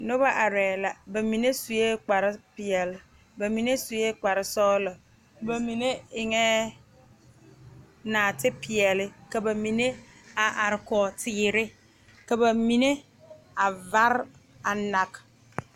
Noba arɛɛ la ba mine sue kpar peɛle ba.mine sue kpar sɔgelɔ ba mine eŋɛɛ naate peɛle ka ba mine a are Kog teere ka ba mine a vare a nag